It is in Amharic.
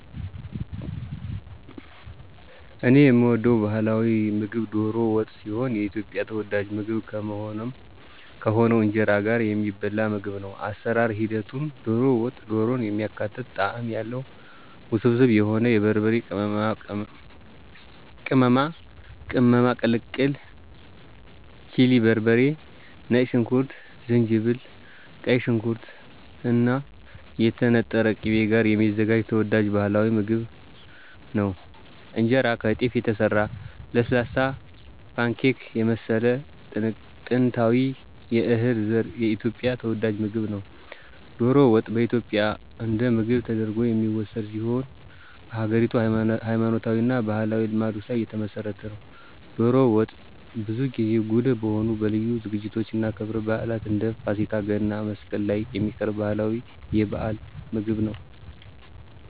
እኔ የምወደው ባህላዊ ምግብ ዶሮ ወጥ ሲሆን የኢትዮጵያ ተወዳጅ ምግብ ከሆነው ከእንጀራ ጋር የሚበላ ምግብ ነው። የአሰራር ሂደቱም - ዶሮ ወጥ - ዶሮን የሚያካትት ጣዕም ያለው፣ ውስብስብ የሆነ የበርበሬ ቅመማ ቅልቅል (ቺሊ በርበሬ፣ ነጭ ሽንኩርት፣ ዝንጅብል)፣ ቀይ ሽንኩርት እና የተነጠረ ቅቤ ጋር የሚዘጋጅ ተወዳጅ ባህላዊ ምግብ ነው። እንጀራ - ከጤፍ የተሰራ ለስላሳ፣ ፓንኬክ የመሰለ ጥንታዊ የእህል ዘር የኢትዮጵያ ተወዳጅ ምግብ ነው። ዶሮ ወጥ በኢትዮጵያ እንደ ምግብ ተደርጎ የሚወሰድ ሲሆን በሀገሪቱ ሃይማኖታዊ እና ባህላዊ ልማዶች ላይ የተመሰረተ ነው። ዶሮ ወጥ ብዙ ጊዜ ጉልህ በሆኑ ለልዩ ዝግጅቶች እና ክብረ በዓላት እንደ ፋሲካ፣ ገና፣ መስቀል ላይ የሚቀርብ ባህላዊ የበዓል ምግብ ነው።